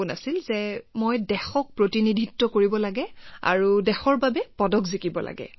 ধাৰণাটো আছিল যে মই দেশক প্ৰতিনিধিত্ব কৰিব লাগে আৰু তাৰ পিছত দেশৰ বাবেও পদক লাভ কৰিব লাগে